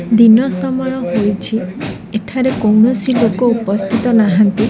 ଦିନ ସମୟ ହୋଇଛି ଏଠାରେ କୌଣସି ଲୋକ ଉପସ୍ଥିତ ନାହାନ୍ତି।